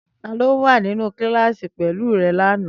Tani o wa ninu kilasi pẹlu rẹ lana?